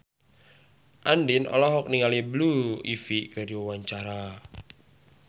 Andien olohok ningali Blue Ivy keur diwawancara